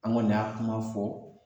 An kɔni y'a kuma fɔ